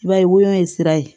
I b'a ye woyon ye sira ye